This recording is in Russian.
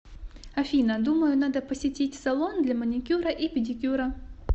афина думаю надо посетить салон для маникюра и педикюра